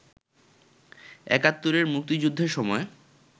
একাত্তরের মুক্তিযুদ্ধের সময়